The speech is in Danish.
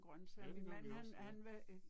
Ja det gør vi også ja